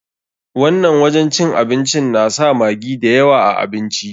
Wannan wajen cin abincin na sa maggi da yawa a abinci.